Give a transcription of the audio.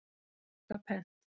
Ég þakka pent.